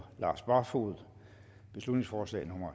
lars barfoed beslutningsforslag nummer